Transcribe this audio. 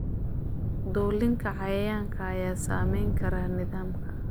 Dulinka cayayaanka ayaa saameyn kara nidaamka.